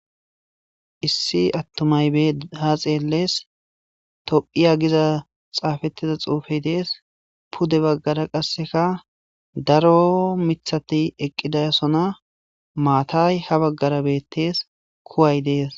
Issi atumatyi bidi ha xeles tophiya giza xafetida xufe de'ees pude bagara qasika daro mithati eqidi de'osona mathayi ha bagara betees kuwayi dees